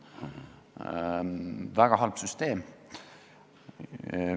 Väga halb süsteem.